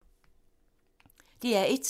DR1